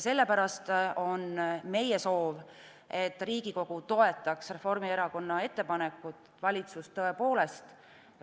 Sellepärast on meie soov, et Riigikogu toetaks Reformierakonna ettepanekut, et valitsus tõepoolest